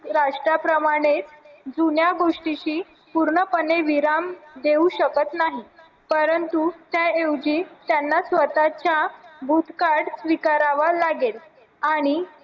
राष्ट्राप्रमाणे जुन्या गोष्टीशी पूर्णपणे विराम देऊ शकत नाही परंतु त्या ऐवजी त्यांना स्वताच्या भूतकाळ विकारावर लागेल आणि